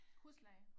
Husleje